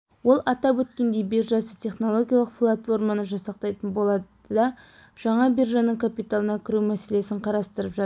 ол атап өткендей биржасы технологиялық платформаны жасақтайтын болады да жаңа биржаның капиталына кіру мәселесін қарастырып жатыр